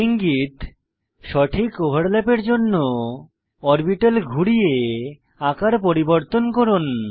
ইঙ্গিত সঠিক ওভারল্যাপের জন্য অরবিটাল ঘুরিয়ে আকার পরিবর্তন করুন